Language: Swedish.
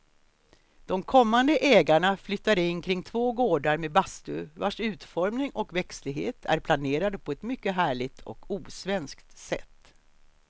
De kommande ägarna flyttar in kring två gårdar med bastu vars utformning och växtlighet är planerade på ett mycket härligt och osvenskt sätt.